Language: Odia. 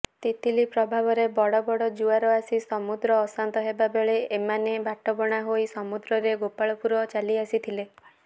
ତିତିଲି ପ୍ରଭାବରେ ବଡ଼ବଡ଼ ଜୁଆର ଆସି ସମୁଦ୍ର ଅଶାନ୍ତ ହେବାବେଳେ ଏମାନେ ବାଟବଣା ହୋଇ ସମୁଦ୍ରରେ ଗୋପାଳପୁର ଚାଲିଆସିଥିଲେ